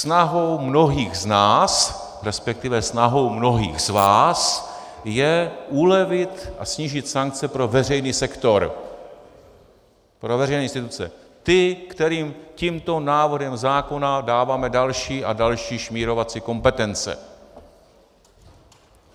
Snahou mnohých z nás, respektive snahou mnohých z vás je ulevit a snížit sankce pro veřejný sektor, pro veřejné instituce, ty, kterým tímto návrhem zákona dáváme další a další šmírovací kompetence.